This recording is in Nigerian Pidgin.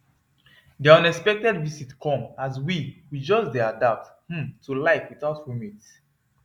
their unexpected visit come as we we just dey adapt um to life without roommates